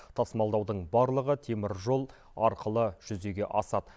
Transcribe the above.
тасымалдаудың барлығы теміржол арқылы жүзеге асады